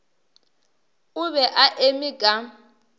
o be a eme ka